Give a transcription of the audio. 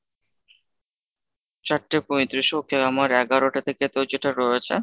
চারটে পঁয়ত্রিশ okay আমার এগারোটা থেকে তো যেটা রয়েছে,